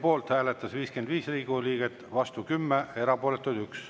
Poolt hääletas 55 Riigikogu liiget, vastu 10, erapooletuks jäi 1.